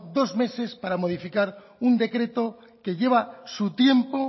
dos meses para modificar un decreto que lleva su tiempo